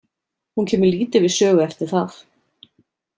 Hún kemur lítið við sögu eftir það.